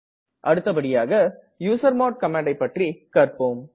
அடுத்தபடியாக யூசர்மாட் ஐ பற்றி கற்ப்போம்